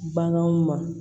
Baganw ma